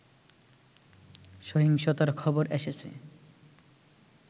সহিংসতার খবর এসেছে